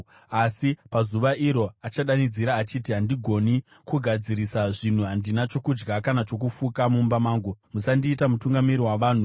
Asi pazuva iro achadanidzira achiti, “Handigoni kugadzirisa zvinhu. Handina chokudya kana chokufuka mumba mangu; musandiita mutungamiri wavanhu.”